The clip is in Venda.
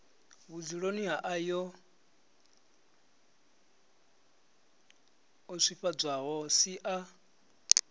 vhudzuloni ha ayoo swifhadzwaho sia